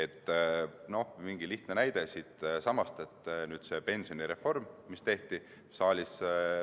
Toon ühe lihtsa näite siitsamast, selle pensionireformi, mis tehti.